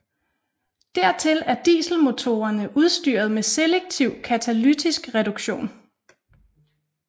Dertil er dieselmotorerne udstyret med selektiv katalytisk reduktion